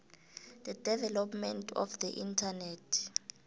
the development of the internet